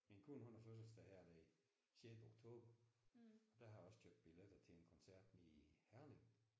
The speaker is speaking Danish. Min kone hun har fødselsdag her den sjette oktober. Der har jeg også købt billetter til en koncert nede i Herning